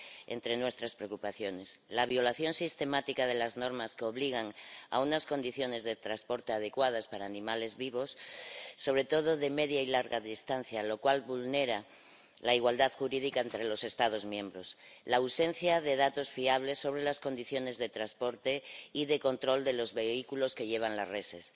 entre nuestras preocupaciones la violación sistemática de las normas que obligan a unas condiciones de transporte adecuadas para animales vivos, sobre todo de media y larga distancia, lo cual vulnera la igualdad jurídica entre los Estados miembros la ausencia de datos fiables sobre las condiciones de transporte y de control de los vehículos que llevan las reses